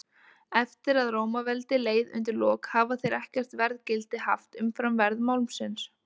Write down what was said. Eftir að Rómaveldi leið undir lok hafa þeir ekkert verðgildi haft umfram verð málmsins.